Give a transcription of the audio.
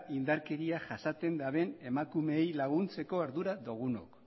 indarkeria jasaten duten emakumeei laguntzeko ardura dugunok